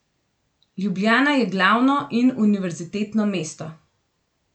Ljubljana je glavno in univerzitetno mesto.